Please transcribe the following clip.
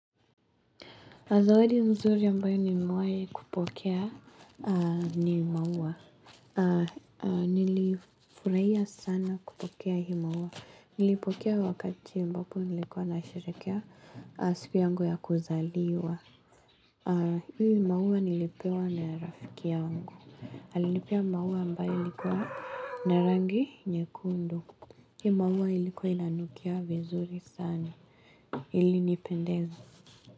Zawadi nzuri ambayo nimewahi kupokea ni maua. Nilifurahia sana kupokea hii maua. Nilipokea wakati ambapo nilikuwa nasherekea siku yangu ya kuzaliwa. Hii maua nilipewa na rafiki yangu. Anilipea maua ambayo ilikuwa na rangi nyekundu. Hii maua ilikuwa inanukia vizuri sana. Ilinipendeza.